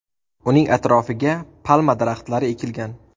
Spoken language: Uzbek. Uning atrofiga palma daraxtlari ekilgan.